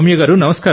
నమస్కారం సర్